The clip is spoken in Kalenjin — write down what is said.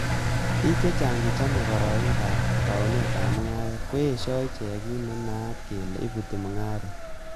Bik che chang che chome kororonindab ab taunetab mungaret, koyesho ichek kit nenaat kele ibuti mungaret.